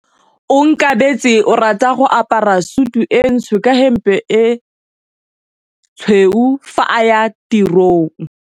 Onkabetse o rata go apara sutu e ntsho ka hempe e tshweu fa a ya tirong.